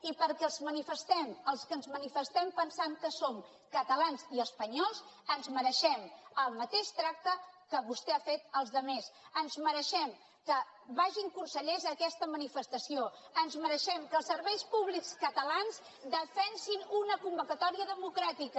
i perquè els que ens manifestem els que ens manifestem pensant que som catalans i espanyols ens mereixem el mateix tracte que vostè ha fet als altres ens mereixem que vagin consellers a aquesta manifestació ens mereixem que els serveis públics catalans defensin una convocatòria democràtica